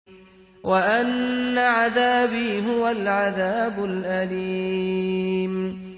وَأَنَّ عَذَابِي هُوَ الْعَذَابُ الْأَلِيمُ